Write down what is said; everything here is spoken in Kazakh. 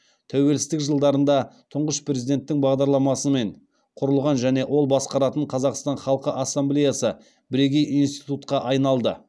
тәуелсіздік жылдарында тұңғыш президенттің бастамасымен құрылған және ол басқаратын қазақстан халқы ассамблеясы бірегей институтқа айналды